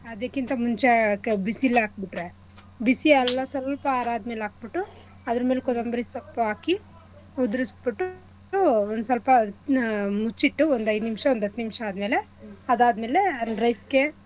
ಆದಿಕ್ಕಿಂತ ಮುಂಚೆ ಕ ಬಿಸಿಲೇ ಹಾಕ್ಬಿಟ್ರೆ ಬಿಸಿ ಅಲ್ಲಾ ಸ್ವಲ್ಪ ಆರದ್ಮಲೆ ಹಾಕ್ಬಿಟ್ಟು ಅದ್ರಮೇಲೆ ಕೊತಂಬ್ರಿ ಸೊಪ್ಪು ಹಾಕಿ ಉದ್ರಸ್ಬಿಟ್ಟು ಒಂದ್ಸ್ವಲ್ಪ ಹ್ಮ್‌ ಮುಚ್ಚಿಟ್ಟು ಒಂದ್ ಐದ್ ನಿಮ್ಶ ಒಂದ್ ಹತ್ ನಿಮ್ಶ ಆದ್ಮೇಲೆ ಅದಾದ್ಮೇಲೆ rice ಗೆ.